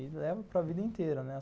E leva para vida inteira, né?